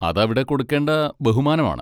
അതവിടെ കൊടുക്കേണ്ട ബഹുമാനമാണ്.